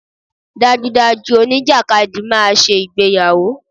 Dájúdájú, oníjàkadì máa ṣe ìgbéyàwó.